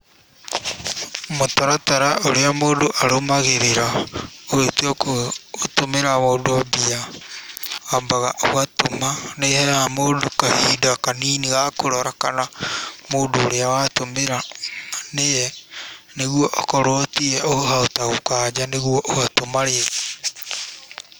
Mũtaratara ũrĩa mũndũ arũmagĩrĩra ũgĩtua gũtũmĩra mũndũ mbia, wambaga ũgatũma, nĩ ĩheaga mũndũ kahinda kanini ga kũrora kana mũndũ ũrĩa watũmĩra nĩye nĩguo okorwo tiye ũkahota gũkanja nĩguo ũgatũma rĩngĩ.